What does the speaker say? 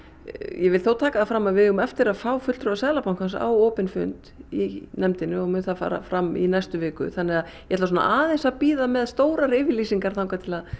vil þó taka það fram að við eigum eftir að fá fulltrúa Seðlabankans á opinn fund í nefndinni og mun það fara fram í næstu viku þannig að ég ætla aðeins að bíða með stórar yfirlýsingar þar til að